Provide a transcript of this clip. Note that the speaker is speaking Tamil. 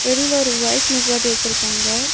வெளியில ஒரு பைக் நிப்பாட்டி வச்சுருக்காங்க.